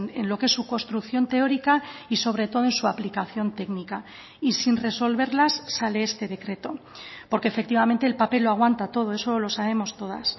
en lo que es su construcción teórica y sobre todo en su aplicación técnica y sin resolverlas sale este decreto porque efectivamente el papel lo aguanta todo eso lo sabemos todas